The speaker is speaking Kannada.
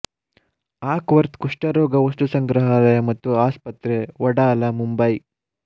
ಆಕ್ ವರ್ತ್ ಕುಷ್ಠರೋಗ ವಸ್ತುಸಂಗ್ರಹಾಲಯ ಮತ್ತು ಆಸ್ಪತ್ರೆ ವಡಾಲ ಮುಂಬೈ